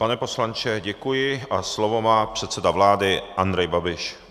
Pane poslanče, děkuji a slovo má předseda vláda Andrej Babiš.